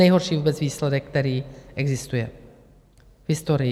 Nejhorší vůbec výsledek, který existuje v historii.